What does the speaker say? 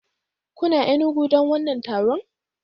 Kuna Enugu don wannan taron?